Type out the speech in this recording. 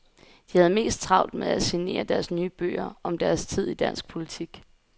De havde mest travlt med at signere deres nye bøger om deres tid i dansk politik.